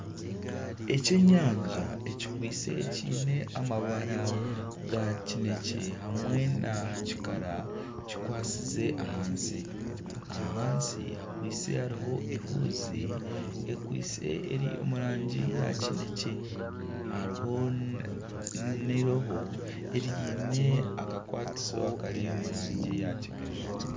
Ekyenyanja ekikwaitse kiine amabara aga kinekye hamwe na kikara kikwasize ahansi. Ahansi hakwaitse hariho ehuuzi, ekwaitse eri omu rangi ya kinekye. Hariho n'eirobo eriine akakwatiso akari omu rangi ya kigaju.